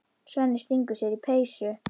Svenni stingur sér í peysu.